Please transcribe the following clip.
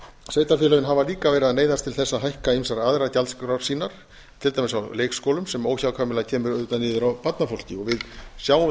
sveitarfélögin hafa líka verið að neyðast til þess að hækka mat aðrar gjaldskrár sínar til dæmis á leikskólum sem óhjákvæmilega kemur niður á barnafólki við sjáum